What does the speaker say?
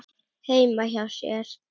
heima hjá sér.